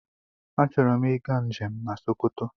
Achọrọ m ịga njem na Sokoto.